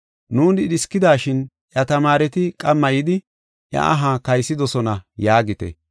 “ ‘Nuuni dhiskidashin iya tamaareti qamma yidi, iya aha kaysidosona’ yaagite.